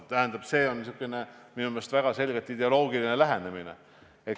Tähendab, see on minu meelest väga selgelt ideoloogiline lähenemine.